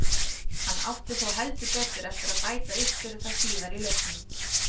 Hann átti þó heldur betur eftir að bæta upp fyrir það síðar í leiknum.